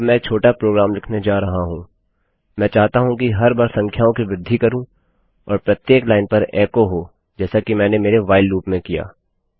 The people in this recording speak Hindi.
अब मैं एक छोटा प्रोग्राम लिखने जा रहा हूँ मैं चाहता हूँ कि हर बार संख्याओं की वृद्धि करूँ और प्रत्येक लाइन पर एको हो जैसा कि मैंने मेरे व्हाइल loopलूपमें किया